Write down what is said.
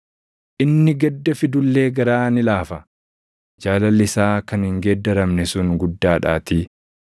Inni gadda fidu illee garaa ni laafa; jaalalli isaa kan hin geeddaramne sun guddaadhaatii.